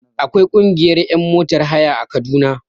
Akwai ƙungiyar ƴan motar haya a kaduna